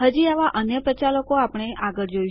હજી આવા અન્ય પ્રચાલકો આપણે આગળ જોઈશું